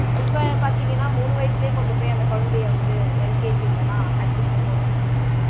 இப்போ பாத்தீங்கன்னா மூணு வயசுலையே கொண்டு போயி அந்த குழந்தைய வந்து LKG ல எல்லாம் admission போட்டுறாங்க